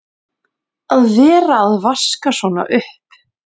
Að vera að vaska svona upp!